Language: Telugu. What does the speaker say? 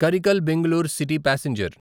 Karaikal Bengaluru city passenger